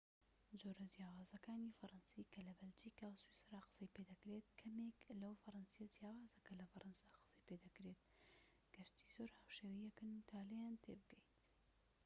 جۆرە جیاوازەکانی فەرەنسی کە لە بەلجیکا و سویسرا قسەی پێدەکرێت کەمێک لەو فەرەنسیە جیاوازە کە لە فەرەنسا قسەی پێدەکرێت گەرچی زۆر هاوشێوەی یەکن تا لێیان تێبگەیت